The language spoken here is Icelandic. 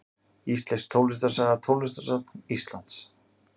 Íslensk tónlistarsaga Tónlistarsafn Íslands.